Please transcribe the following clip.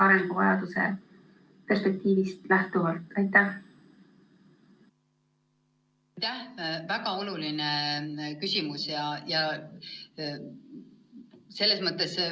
Aitäh, väga oluline küsimus!